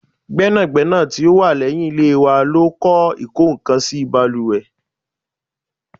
Gbẹ́nàgbẹ́nà tí ó wà leyin ilé wa ló kọ ikokansi baluwe